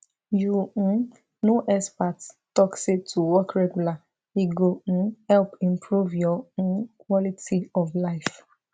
you um know experts talk say to walk regular e go um help improve your um quality of life